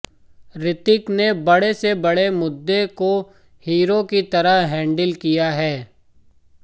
ऋतिक ने बड़े से बड़े मुद्दे को हीरो की तरह हैंडल किया है